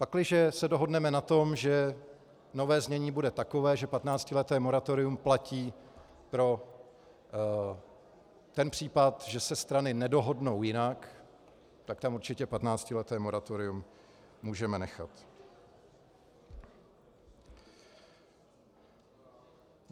Pakliže se dohodneme na tom, že nové znění bude takové, že 15leté moratorium platí pro ten případ, že se strany nedohodnou jinak, tak tam určitě 15leté moratorium můžeme nechat.